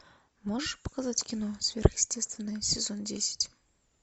можешь показать кино сверхъестественное сезон десять